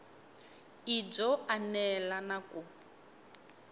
i byo enela na ku